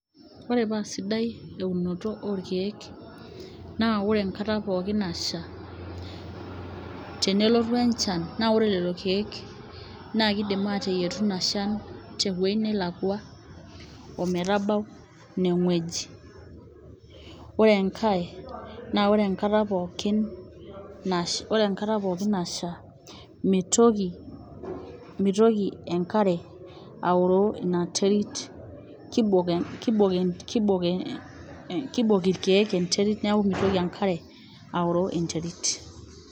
Oore paa sidai eunoto orkeek naa oore enkata pooki nasha, tenelotu enchan naa oore lelo keek naa keidim ateyietu iina shan tewueji nelakua ometabau iine wueji. Oore enkae naa oore enkata pooki naasha mitoki enkare aoroo iina terit keibok irkeek enkare niaku meitoki enkare oaroo enterit.